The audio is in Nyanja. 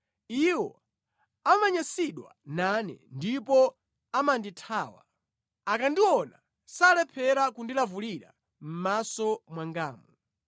Iwo amanyansidwa nane ndipo amandithawa; akandiona salephera kundilavulira mʼmaso mwangamu.